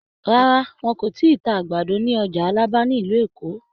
Rárá, wọn kò ì tíì ta àgbàdo ní ọjà Alábà ní ìlú Èkó.